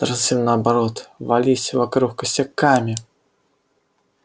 даже совсем наоборот вились вокруг косяками